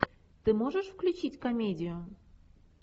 ты можешь включить комедию